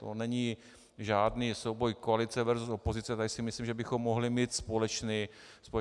To není žádný souboj koalice versus opozice, tady si myslím, že bychom mohli mít společný názor.